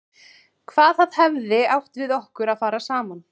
Hvað það hefði átt við okkur að fara saman.